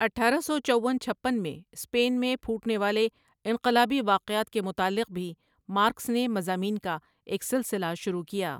اٹھارہ سو چون چھپن میں سپین میں پھو ٹنے والے انقلابی وا قعات کے متعلق بھی مارکس نے مضامین کا ایک سلسلہ شر وع کیا ۔